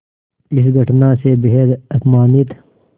इस घटना से बेहद अपमानित